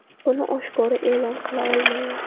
Buni oshkora e’lon qila olmayman.